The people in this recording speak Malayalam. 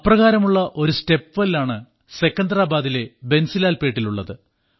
അപ്രകാരമുള്ള ഒരു സ്റ്റെപ്വെൽ ആണ് സെക്കന്തരാബാദിലെ ബൻസിലാൽപേട്ടിലുമുള്ളത്